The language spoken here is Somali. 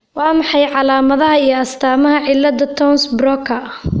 Waa maxay calaamadaha iyo astaamaha cilada Townes Brocka?